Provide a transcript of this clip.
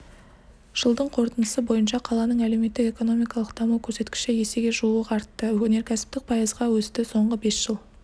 жылдың қорытындысы бойынша қаланың әлеуметтік-экономикалық даму көрсеткіші есеге жуық артты өнеркәсіп пайызға өсті соңғы бес жыл